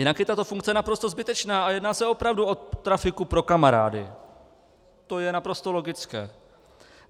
Jinak je tato funkce naprosto zbytečná a jedná se opravdu o trafiku pro kamarády, to je naprosto logické.